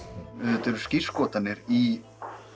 auðvitað eru skírskotanir í